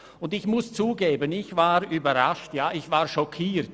Was ich dort gehört habe, hat mich überrascht, ja schockiert.